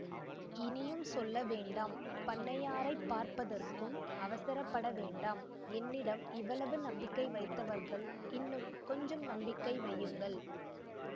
இனியும் சொல்ல வேண்டாம் பண்ணையாரைப் பார்ப்பதற்கும் அவசரப்பட வேண்டாம் என்னிடம் இவ்வளவு நம்பிக்கை வைத்தவர்கள் இன்னும் கொஞ்சம் நம்பிக்கை வையுங்கள்